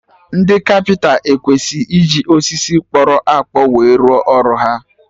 Ndị kapịnta ekwesị iji osisi kpọrọ akpọ we rụọ ọrụ ha